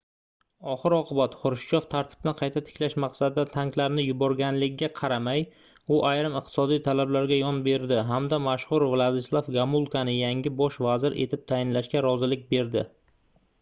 oxir-oqibat xrushchyov tartibni qayta tiklash maqsadida tanklarni yuborganligiga qaramay u ayrim iqtisodiy talablarga yon berdi hamda mashhur vladislav gomulkani yangi bosh vazir etib tayinlashga rozilik berdi